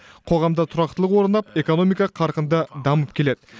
қоғамда тұрақтылық орнап экономика қарқынды дамып келеді